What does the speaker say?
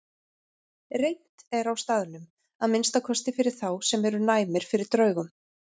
Reimt er á staðnum, að minnsta kosti fyrir þá sem eru næmir fyrir draugum.